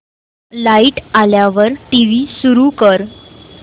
light आल्यावर TV सुरू कर